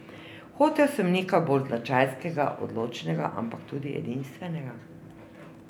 Hotel sem nekaj bolj značajskega, odločnega, ampak tudi edinstvenega.